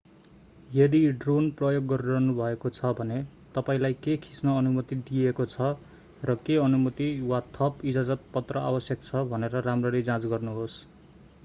यदि ड्रोन प्रयोग गरिरहनु भएको छ भने तपाईंलाई के खिच्न अनुमति दिइएको छ र के अनुमति वा थप इजाजतपत्र आवश्यक छ भनेर राम्ररी जाँच गर्नुहोस्